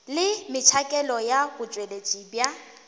le metšhakelo ya botšweletši bja